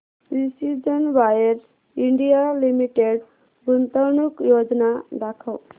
precision wires India limited गुंतवणूक योजना दाखव